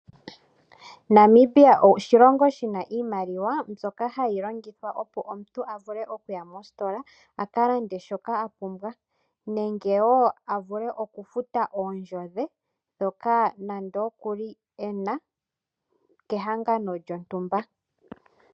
Namibia oshilongo shina iimaliwa, mbyoka ha yi longithwa, opo omuntu a vule oku ua mostola aka lande shoka a pumbwa, nenge wo a vule oku futa oondjo dhe ndhoka nande okuli ena, kehangano lyontumba.